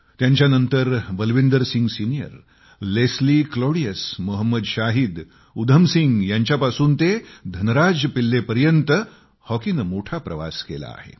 त्यांच्यानंतर बलविंदर सिंग सिनियर लेस्ली ग्लोडीयस मोहम्मद शाहीद उधम सिंग यांच्यापासून ते धनराज पिल्लेपर्यंत हॉकीने मोठा प्रवास केला आहे